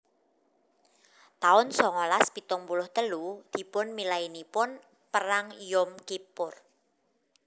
taun songolas pitung puluh telu Dipunmilainipun Perang Yom Kippur